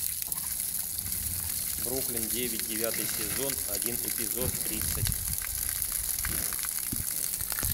бруклин девять девятый сезон один эпизод тридцать